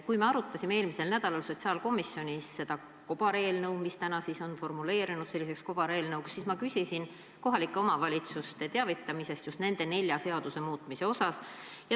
Kui me arutasime eelmisel nädalal sotsiaalkomisjonis seda eelnõu, mis täna on formuleerunud selliseks kobareelnõuks, siis ma küsisin kohalike omavalitsuste teavitamise kohta just nende nelja seaduse muutmise mõttes.